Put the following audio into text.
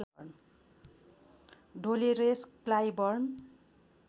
Dolores Clyburn